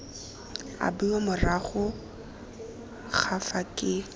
abiwa morago ga fa ke